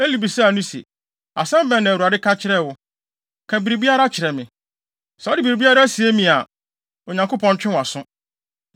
Eli bisaa no se, “Asɛm bɛn na Awurade ka kyerɛɛ wo? Ka biribiara kyerɛ me. Sɛ wode biribiara sie me a, Onyankopɔn ntwe wʼaso.”